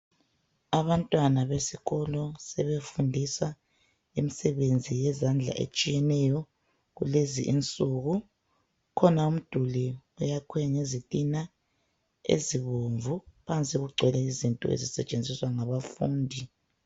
abantwana besikolo sebefundisa imsebenzi yezandla etshiyeneyo kulezi insuku kukhona umduli oyakhwe ngezitina ezibomvu phansi kugcwele izinto ezisebenziswa ngabafundi